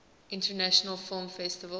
international film festival